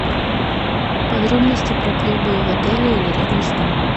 подробности про клубы в отеле или рядом с ним